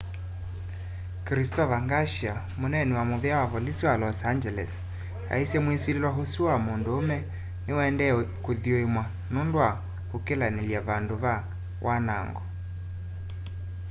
christopher garcia muneeni wa muvea wa volisi wa los angeles aisye mwisililw'a usu wa munduume niuendee kuthuimwa nundu wa ukilanilya vandu va wanango